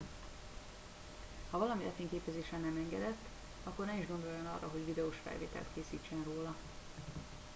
ha valami lefényképezése nem megengedett akkor ne is gondoljon arra hogy videós felvételt készítsen róla